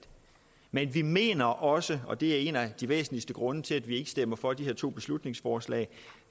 men vi mener også og det er en af de væsentligste grunde til at vi ikke stemmer for de her to beslutningsforslag